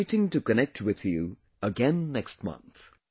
I am waiting to connect with you again next month